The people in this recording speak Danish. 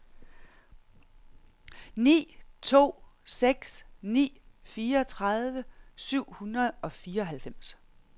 ni to seks ni fireogtredive syv hundrede og fireoghalvfems